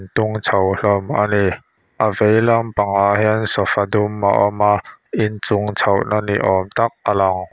tung chho hlawm a ni a vei lampangah hian sofa dum a awm a in chung chhohna ni awm tak a lang.